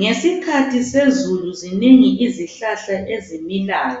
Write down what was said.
Ngesikhathi sezulu zinengi izihlahla ezimilayo